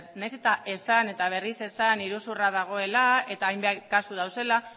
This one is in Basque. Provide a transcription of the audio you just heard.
nahiz eta esan eta berriz esan iruzurra dagoela eta hainbat kasu dauzela